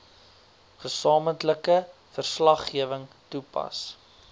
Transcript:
gesamentlike verslaggewing toepas